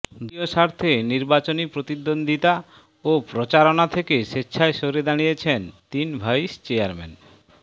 দলীয় স্বার্থে নির্বাচনী প্রতিদ্বন্দ্বিতা ও প্রচারণা থেকে স্বেচ্ছায় সরে দাঁড়িয়েছেন তিন ভাইস চেয়ারম্যান